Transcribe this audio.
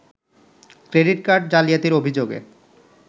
credit card জালিয়াতির অভিযোগে